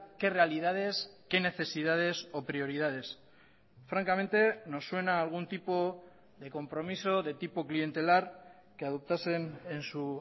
qué realidades qué necesidades o prioridades francamente nos suena a algún tipo de compromiso de tipo clientelar que adoptasen en su